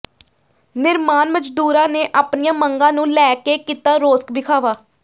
ਨਿਰਮਾਣ ਮਜ਼ਦੂਰਾਂ ਨੇ ਆਪਣੀਆਂ ਮੰਗਾਂ ਨੂੰ ਲੈ ਕੇ ਕੀਤਾ ਰੋਸ ਵਿਖਾਵਾ